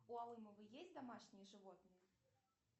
у алымовой есть домашние животные